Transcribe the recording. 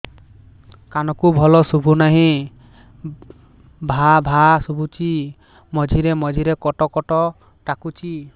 କାନକୁ ଭଲ ଶୁଭୁ ନାହିଁ ଭାଆ ଭାଆ ଶୁଭୁଚି ମଝିରେ ମଝିରେ କଟ କଟ ଡାକୁଚି